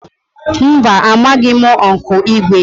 Mba, amaghị m Ụnkụ Igwe